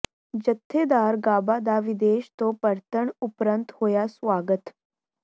ਜਥੇਦਾਰ ਗਾਬਾ ਦਾ ਵਿਦੇਸ਼ ਤੋਂ ਪਰਤਣ ਉਪਰੰਤ ਹੋਇਆ ਸੁਆਗਤ